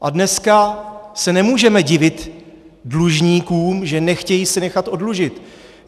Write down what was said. A dneska se nemůžeme divit dlužníkům, že nechtějí se nechat oddlužit.